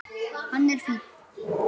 Hann er fínn.